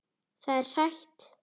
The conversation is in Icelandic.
Það er sætt.